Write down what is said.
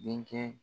Denkɛ